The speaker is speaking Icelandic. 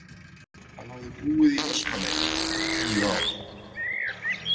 Hann hafði búið í Vestmannaeyjum í tíu ár.